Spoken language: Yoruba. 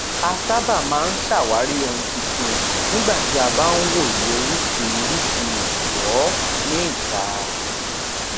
a sábà máa ń ṣàwárí ohun titun nígbà tí a bá ń wòye orísìírísìí ìrànwọ ní ìta